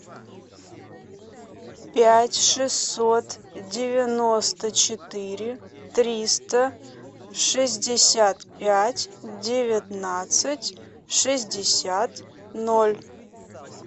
пять шестьсот девяносто четыре триста шестьдесят пять девятнадцать шестьдесят ноль